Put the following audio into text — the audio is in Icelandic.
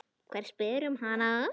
Hver spyr um hana?